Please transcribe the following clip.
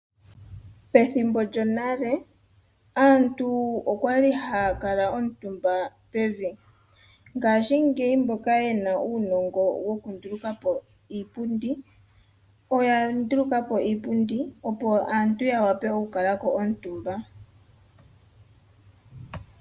Pethimbo lyonale aantu okwa li haya kala omutumba pevi. Ngashingeyi mboka yena uunongo wokunduluka po iipundi oya nduluka po iipundi opo aantu ya vule okukala ko omutumba.